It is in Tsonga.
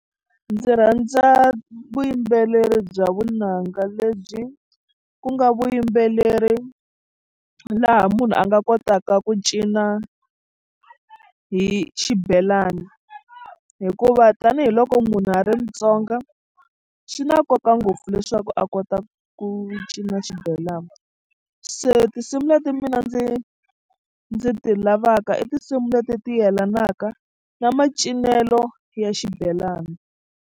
Ndzi rhandza vuyimbeleri bya vunanga lebyi ku nga vuyimbeleri laha munhu a nga kotaka ku cina hi xibelani hikuva tanihiloko munhu a ri Mutsonga swi na nkoka ngopfu leswaku a kota ku cina xibelana se tinsimu leti mina ndzi ndzi ti lavaka i tinsimu leti ti yelanaka na macinelo ya xibelani.